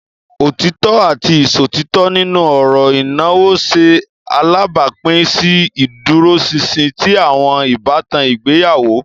Otitọ ati iṣotitọ nínú ọrọ ìnáwó ṣe alabapin si ìdúróṣinṣin ti awọn ìbátan ìgbéyàwó.